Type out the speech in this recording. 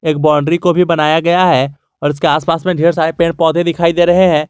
एक बाउंड्री को भी बनाया गया है और उसके आसपास में ढेर सारे पेड़ पौधे दिखाई दे रहे हैं।